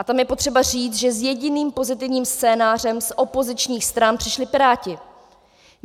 A tam je potřeba říct, že s jediným pozitivním scénářem z opozičních stran přišli Piráti.